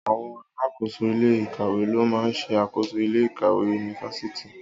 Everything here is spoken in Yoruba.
Àwon alakoso ile-ikawe lo maa n se akoso ile-ikawe Yunifásítì